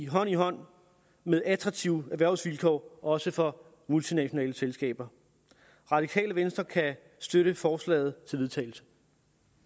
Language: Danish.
hånd i hånd med attraktive erhvervsvilkår også for multinationale selskaber radikale venstre kan støtte forslaget til vedtagelse